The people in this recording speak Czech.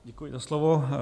Děkuji za slovo.